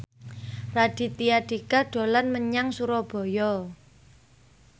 Raditya Dika dolan menyang Surabaya